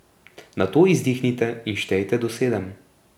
Nato izdihnite in štejte do sedem.